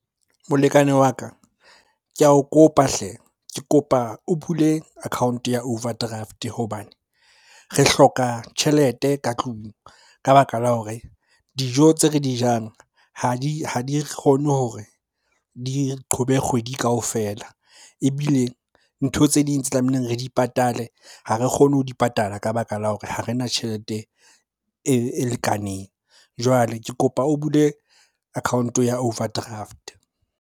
Molekane wa ka, ke ao kopa hle! Ke kopa o bule account-o ya overdraft hobane re hloka tjhelete ka tlung ka baka la hore dijo tse re di jang ha di kgone hore di qhobe kgwedi kaofela. Ebile ntho tse ding tse tlamehileng re di patale ha re kgone ho di patala ka baka la hore ha re na tjhelete e lekaneng. Jwale ke kopa o bule account-o ya overdraft.